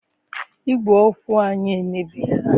Igwè okwu anyị emebiela.